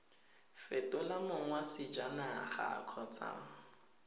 fetola mong wa sejanaga kgotsa